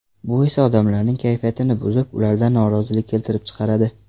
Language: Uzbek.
Bu esa odamlarning kayfiyatini buzib, ularda norozilik keltirib chiqaradi.